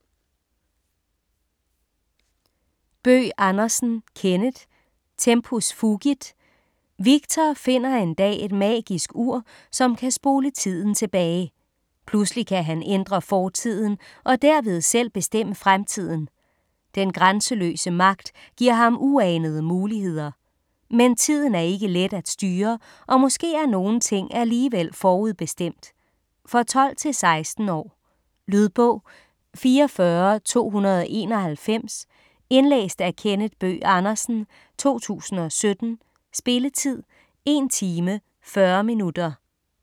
Bøgh Andersen, Kenneth: Tempus fugit Victor finder en dag et magisk ur, som kan spole tiden tilbage. Pludselig kan han ændre fortiden og derved selv bestemme fremtiden. Den grænseløse magt giver ham uanede muligheder. Men tiden er ikke let at styre, og måske er nogle ting alligevel forudbestemt? For 12-16 år. Lydbog 44291 Indlæst af Kenneth Bøgh Andersen, 2017. Spilletid: 1 time, 40 minutter.